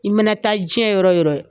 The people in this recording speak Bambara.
I ma na taa diɲɛ yɔrɔ yɔrɔ